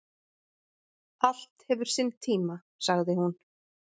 """Allt hefur sinn tíma, sagði hún."""